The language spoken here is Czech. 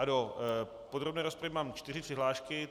Do podrobné rozpravy mám čtyři přihlášky.